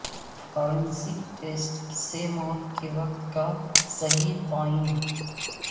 forensic test سے موت کے وقت کا صحیح تعین